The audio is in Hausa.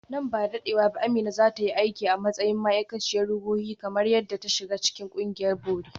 Nan ba da dadewa ba Amina za ta yi aiki a matsayin ma’aikaciyar ruhohi kamar yadda ta shiga cikin ƙungiyar bori.